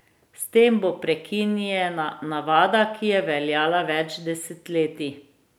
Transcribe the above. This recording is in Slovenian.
S tem bo prekinjena navada, ki je veljala več desetletij.